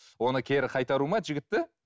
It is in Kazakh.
оны кері қайтару ма жігітті